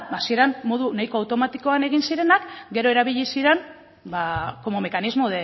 ba hasieran modu nahiko automatikoan egin zirenak gero erabili ziren como mecanismo